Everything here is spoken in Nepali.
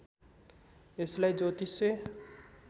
यसलाई ज्योतिष्य